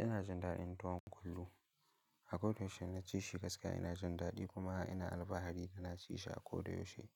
Ina jin daɗin tuwon kullu. A koyaushe na ci shi gaskiya ina jin daɗi kuma ina alfahari da na ci shi akoda yaushe